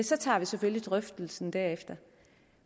så tager vi selvfølgelig drøftelsen derefter